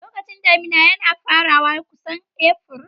Lokacin damina ya fara kusan Afrilu.